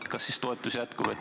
Kas selleks ikka toetusi jätkub?